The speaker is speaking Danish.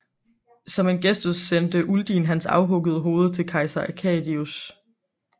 Som en gestus sendte Uldin hans afhuggede hoved til kejser Arcadius